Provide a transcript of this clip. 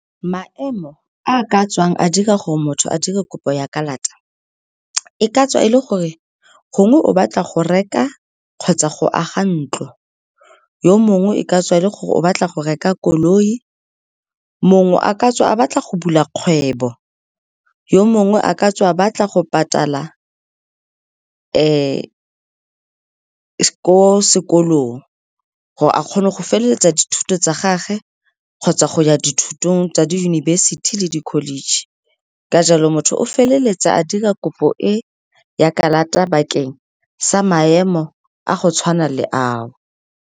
Maemo a a ka tswang a dira gore motho a dire kopo ya kalata, e ka tswa e le gore gongwe o batla go reka kgotsa go aga ntlo, yo mongwe e ka tswa e le gore o batla go reka koloi, mongwe a ka tswa a batla go bula kgwebo, yo mongwe a ka tswa batla go patala ko sekolong gore a kgone go feleletsa dithuto tsa gage kgotsa go ya dithutong tsa diyunibesithi le di-college. Ka jalo, motho o feleletsa a dira kopo e ya kalata bakeng sa maemo a go tshwana le ao.